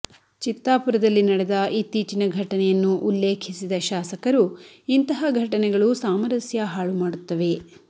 ಚಿತ್ತಾಪುರದಲ್ಲಿ ನಡೆದ ಇತ್ತೀಚಿನ ಘಟನೆಯನ್ನು ಉಲ್ಲೇಖಿಸಿದ ಶಾಸಕರು ಇಂತಹ ಘಟನೆಗಳು ಸಾಮರಸ್ಯ ಹಾಳು ಮಾಡುತ್ತವೆ